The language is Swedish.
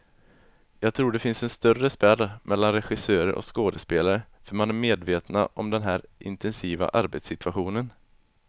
Jag tror det finns en större spärr mellan regissörer och skådespelare, för man är medvetna om den här intensiva arbetssituationen.